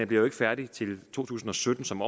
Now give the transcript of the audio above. bliver jo ikke færdig til to tusind og sytten som